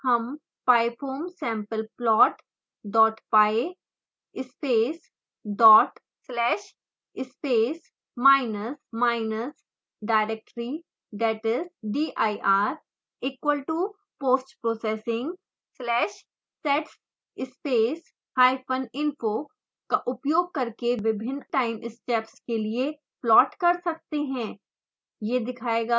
इसके बाद हम pyfoamsampleplot dot py space dot slash space minus minus directory ie dir equal to postprocessing/sets space hyphen info का उपयोग करके विभिन्न time steps के लिए प्लोट कर सकते हैं